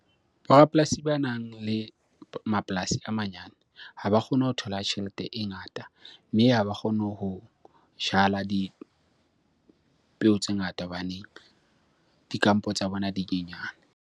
Bo rapolasi banang le mapolasi a manyane ha ba kgone ho thola tjhelete e ngata. Mme ha ba kgone ho jala dipeo tse ngata hobane dikampo tsa bona di nyenyana.